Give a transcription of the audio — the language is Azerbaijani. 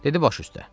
Dedi baş üstə.